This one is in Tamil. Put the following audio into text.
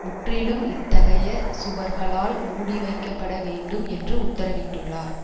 முற்றிலும் இத்தகைய சுவர்களால் மூடிவைக்கப்பட வேண்டும் என்று உத்தரவிட்டுள்ளார்